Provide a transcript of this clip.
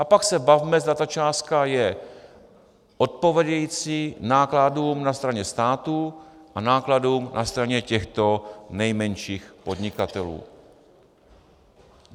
A pak se bavme, zda ta částka je odpovídající nákladům na straně státu a nákladům na straně těchto nejmenších podnikatelů.